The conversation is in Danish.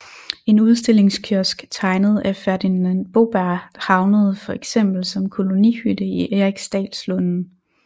En udstillingskiosk tegnet af Ferdinand Boberg havnede for eksempel som kolonihytte i Eriksdalslunden